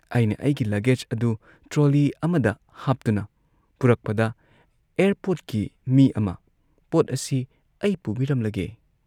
ꯑꯩꯅ ꯑꯩꯒꯤ ꯂꯒꯦꯖ ꯑꯗꯨ ꯇ꯭ꯔꯣꯂꯤ ꯑꯃꯗ ꯍꯥꯞꯇꯨꯅ ꯄꯨꯔꯛꯄꯗ ꯑꯦꯌꯥꯔꯄꯣꯔꯠꯀꯤ ꯃꯤ ꯑꯃ "ꯄꯣꯠ ꯑꯁꯤ ꯑꯩ ꯄꯨꯕꯤꯔꯝꯂꯒꯦ ꯫